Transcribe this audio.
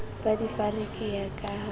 ba difariki ya ka ha